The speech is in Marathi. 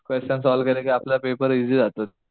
क्वेसशन सॉल्व्ह केले कि आपल्या आप पेपर इसी जातो.